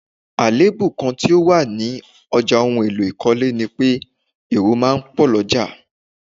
Àléébù kán tí ó wà ní ọjà ohùn èlò ikọle ni pé èrò máa ń pò l'oja